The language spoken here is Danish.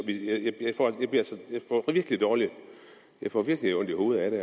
jeg får virkelig dårligt jeg får virkelig ondt i hovedet af det